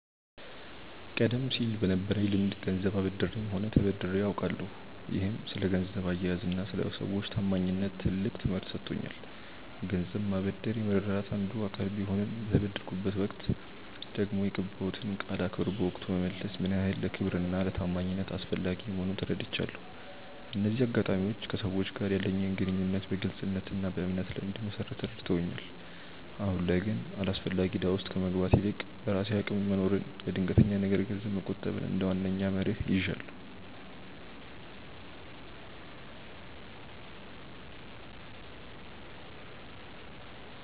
ቀደም ሲል በነበረኝ ልምድ ገንዘብ አበድሬም ሆነ ተበድሬ አውቃለሁ፤ ይህም ስለ ገንዘብ አያያዝና ስለ ሰዎች ታማኝነት ትልቅ ትምህርት ሰጥቶኛል። ገንዘብ ማበደር የመረዳዳት አንዱ አካል ቢሆንም፣ በተበደርኩበት ወቅት ደግሞ የገባሁትን ቃል አክብሮ በወቅቱ መመለስ ምን ያህል ለክብርና ለታማኝነት አስፈላጊ መሆኑን ተረድቻለሁ። እነዚህ አጋጣሚዎች ከሰዎች ጋር ያለኝን ግንኙነት በግልጽነትና በእምነት ላይ እንድመሰርት ረድተውኛል። አሁን ላይ ግን አላስፈላጊ እዳ ውስጥ ከመግባት ይልቅ፣ በራሴ አቅም መኖርንና ለድንገተኛ ነገር ገንዘብ መቆጠብን እንደ ዋነኛ መርህ ይዣለሁ።